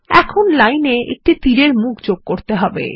এখন লাইন এ একটি তীরের মুখ যোগ করতে হবে